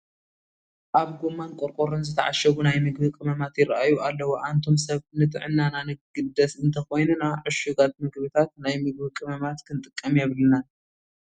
ኣብ ጐማን ቆርቆሮን ዝተዓሸጉ ናይ ምግቢ ቅመማት ይርአዩ ኣለዉ፡፡ ኣንቱም ሰብ ንጥዕናና ንግደስ እንተኾይንና ዕሹጋት ምግብታት ናይ ምግቢ ቅመማት ክንጥቀም የብልናን፡፡